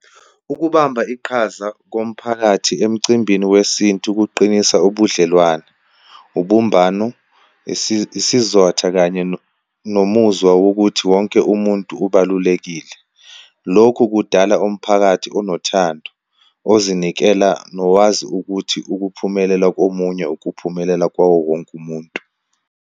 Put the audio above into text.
Ukubamba iqhaza komphakathi emcimbini wesintu kuqinisa ubudlelwane, ubumbano, isizotha kanye nomuzwa wokuthi wonke umuntu ubalulekile. Lokhu kudala umphakathi onothando, ozinikela nokwazi ukuthi ukuphumelela komunye ukuphumelela kwawowonke umuntu.